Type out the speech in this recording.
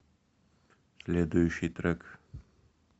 следующий трек